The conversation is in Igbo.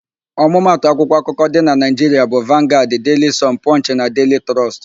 Ọmụmatụ akwụkwọ akụkọ dị na Naịjiria bụ: Vangaad, Deili Sọn, Pọnchị na Deili Trọst.